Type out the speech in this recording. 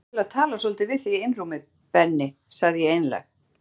Mig langar til að tala svolítið við þig í einrúmi Benni sagði ég einlæg.